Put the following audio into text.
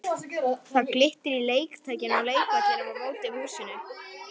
Það glittir í leiktækin á leikvellinum á móti húsinu.